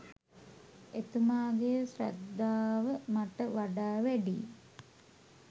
එතුමාගේ ශ්‍රද්ධාව මට වඩා වැඩියි